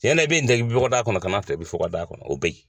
Tiɲɛ na i bɛ nin tobi bɔgɔda kɔnɔ, kana tobi funga da kɔnɔ o bɛ yen.